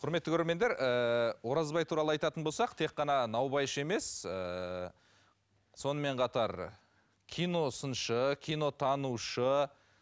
құрметті көрермендер ыыы оразбай туралы айтатын болсақ тек қана наубайшы емес ыыы сонымен қатар киносыншы кинотанушы